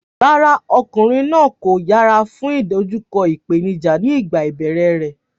Rárá, ọmọkùnrin náà kò yẹra fún ìdojúkọ ìpèníjà nígbà ìbẹ̀rẹ̀ rẹ̀.